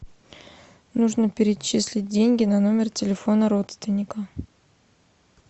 нужно перечислить деньги на номер телефона родственника